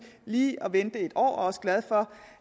lige at vente i et år og også glad for